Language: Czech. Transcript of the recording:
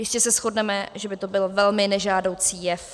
Jistě se shodneme, že by to byl velmi nežádoucí jev.